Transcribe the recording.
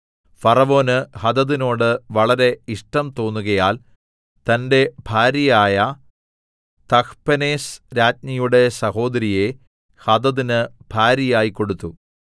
ഫറവോന് ഹദദിനോട് വളരെ ഇഷ്ടം തോന്നുകയാൽ തന്റെ ഭാര്യയായ തഹ്പെനേസ് രാജ്ഞിയുടെ സഹോദരിയെ ഹദദിന് ഭാര്യയായി കൊടുത്തു